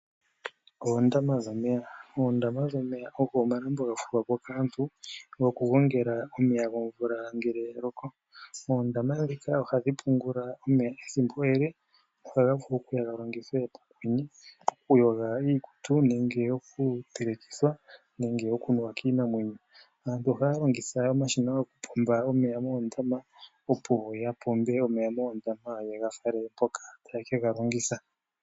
Oondama dhomeya, oondama dhomeya ogo omalambo ga fulwa po kaantu goku gongela omeya. Oondama ndhika ohadhi pungula omeya ethimbo ele noha vulu okuya ha longithwe pokwenye okuyoga iikutu, okutelekithwa nenge oku nuwa kiinamwenyo. Aantu ohaya longitha omashina yoku pombitha omeya moondama opo ya pombe omeya moondama yega fale mpoka taye ke ga longitha.